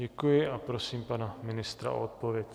Děkuji a prosím pana ministra o odpověď.